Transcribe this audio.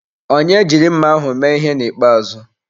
Onye jiri mma ahụ mee ihe na ikpeazụ.